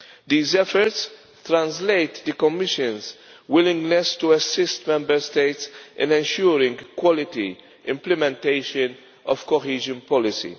These efforts translate the Commission's willingness to assist Member States in ensuring quality implementation of cohesion policy.